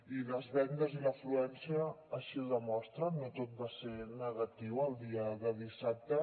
i les vendes i l’afluència així ho demostren no tot va ser negatiu el dia de dissabte